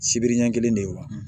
Sibiri ɲɛ kelen de ye wa